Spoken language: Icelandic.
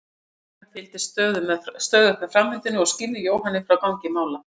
Karen fylgdist stöðugt með framvindunni og skýrði Jóhanni frá gangi mála.